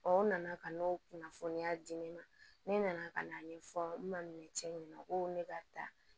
o nana ka n'o kunnafoniya di ne ma ne nana ka n'a ɲɛfɔ n ma cɛ ɲɛna ko ne ka taa